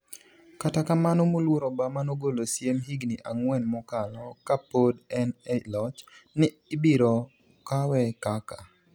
kata kamano moluor Obama nogolo siem higni ang’wen mokalo, ka pod en e loch, ni ibiro kawe kaka